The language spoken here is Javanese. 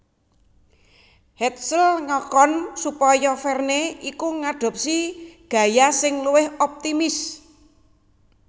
Hetzel ngakon supaya Verne iku ngadopsi gaya sing luwih optimis